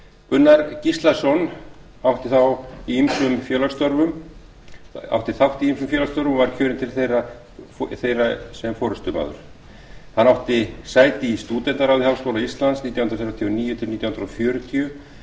gunnar gíslason átti þátt í ýmsum félagsstörfum og var kjörinn til þeirra sem forustumaður hann átti sæti í stúdentaráði háskóla íslands nítján hundruð þrjátíu og níu til nítján hundruð fjörutíu